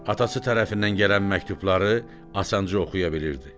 Atası tərəfindən gələn məktubları asanca oxuya bilirdi.